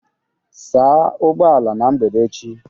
Saa ụgbọ ala na mgbede echi